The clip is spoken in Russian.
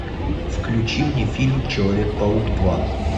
включи мне фильм человек паук два